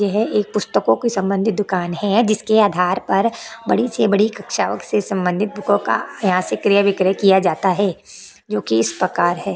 पुस्तकों के संबंधित दुकान है जिसके आधार पर बड़ी से बड़ी कक्षाओं से संबंधित बुक का यहाँ से क्रय-विक्रय किया जाता है जो कि इस पकार है।